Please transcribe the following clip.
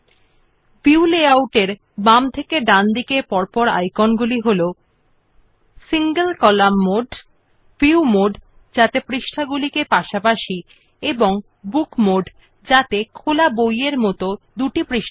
the view layout icons from left to right are as follows single column mode view mode with pages side by side and book mode with two pages as in an open book